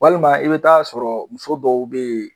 Walima i be taa sɔrɔ muso dɔw be yen.